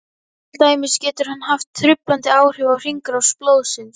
Til dæmis getur hann haft truflandi áhrif á hringrás blóðsins.